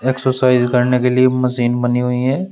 Exercise करने के लिए मशीन बनी हुई है।